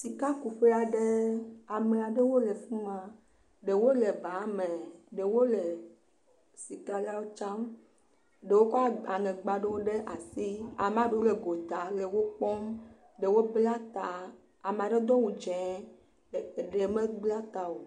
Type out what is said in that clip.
Sikakuƒea ɖe. Ame ɖewo le fi ma. Ɖewo le ba me Ɖe wo le sika la wo dram. Ɖewo kɔ aŋegba aɖewo ɖe asi. Amɖewo le gota le wo kpɔm. Ɖewo bla ta. Ama ɖe dɔ wu zee. Ɖe me bla ta o.